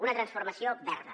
una transformació verda